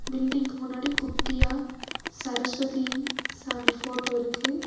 பில்டிங்க்கு முன்னாடி குட்டியா சரஸ்வதி சாமி ஃபோட்டோருக்கு .